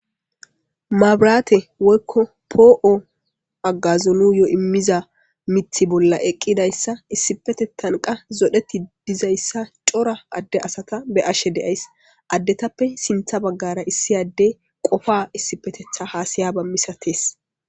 mabiraate woykko poo7o agazolu yo immiza mithi bolla eqqidayssa issipetettanqa zodheti dizayssa cora adde asata be ashe deays addetappe sintha baggara issi adde qofa issipetetha haasayaba misates